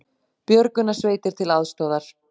Björgunarsveitir til aðstoðar